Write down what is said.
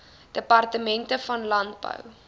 departement van landbou